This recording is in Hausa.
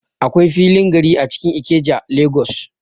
Akwai filin gari a cikin Ikeja, Lagos.